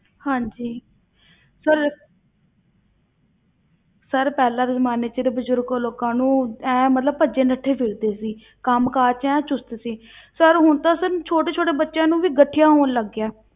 ਹਾਂਜੀ sir sir ਪਹਿਲਾਂ ਦੇ ਜ਼ਮਾਨੇ ਵਿੱਚ ਬਜ਼ੁਰਗ ਲੋਕਾਂ ਨੂੰ ਐਂ ਮਤਲਬ ਭੱਜੇ ਨੱਠੇ ਫਿਰਦੇ ਸੀ ਕੰਮ ਕਾਰ ਵਿੱਚ ਐਨ ਚੁਸ਼ਤ ਸੀ sir ਹੁਣ ਤਾਂ sir ਛੋਟੇ ਛੋਟੇ ਬੱਚਿਆਂ ਨੂੰ ਵੀ ਗਠੀਆ ਹੋਣ ਲੱਗ ਗਿਆ ਹੈ।